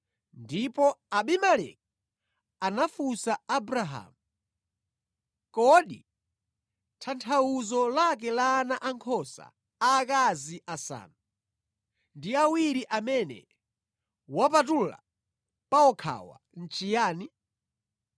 ndipo Abimeleki anafunsa Abrahamu, “Kodi tanthauzo lake la ana ankhosa aakazi asanu ndi awiri amene wawapatula pawokhawa nʼchiyani?”